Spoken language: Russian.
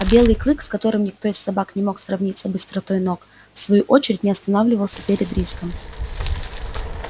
а белый клык с которым никто из собак не мог сравниться быстротой ног в свою очередь не останавливался перед риском